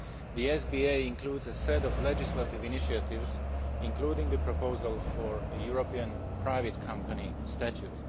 The SBA includes a set of legislative initiatives, including the proposal for a European private company statute.